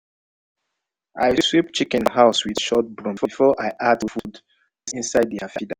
i sweep chicken house with short broom before i add food inside their feeder.